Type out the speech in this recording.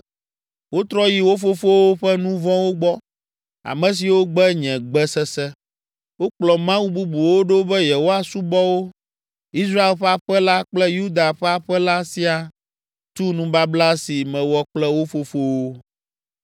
Wotrɔ yi wo fofowo ƒe nu vɔ̃wo gbɔ, ame siwo gbe nye gbe sese. Wokplɔ mawu bubuwo ɖo be yewoasubɔ wo. Israel ƒe aƒe la kple Yuda ƒe aƒe la siaa tu nubabla si mewɔ kple wo fofowo.